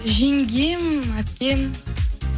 жеңгем әпкем